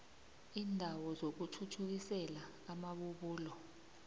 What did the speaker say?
iindawo zokuthuthukisela amabubulo